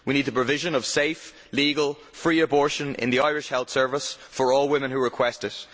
We need the provision of safe, legal, free abortion in the Irish healthcare service for all women who request it.